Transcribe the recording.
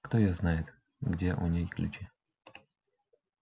кто её знает где у ней ключи